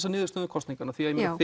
að niðurstöðum kosninganna